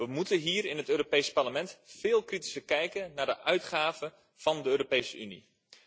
We moeten hier in het Europees Parlement veel kritischer kijken naar de uitgaven van de Europese Unie.